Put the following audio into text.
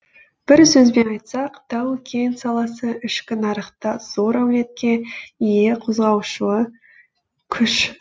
бір сөзбен айтсақ тау кен саласы ішкі нарықта зор әлеуетке ие қозғаушы күш